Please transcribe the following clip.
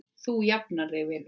Þú jafnar þig vinur.